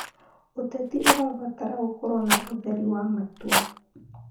ũteti ũrabatara gũkorwo na ũtheri wa matua.